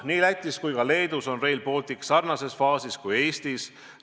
" Nii Lätis kui ka Leedus on Rail Baltic sarnases faasis kui Eestis.